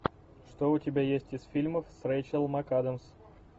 что у тебя есть из фильмов с рэйчел макадамс